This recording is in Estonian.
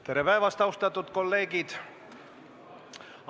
Tere päevast, austatud kolleegid!